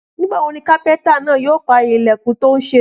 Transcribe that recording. Nígbà wo ni kápẹ́ntà náà yóò parí ilẹ̀kùn tó ń ṣe?